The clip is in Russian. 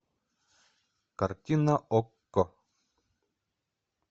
картина окко